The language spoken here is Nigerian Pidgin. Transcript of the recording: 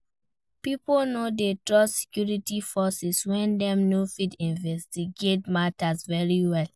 Pipo no de trust security forces when dem no fit investigate matter very well